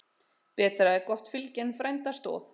Betra er gott fylgi en frænda stoð.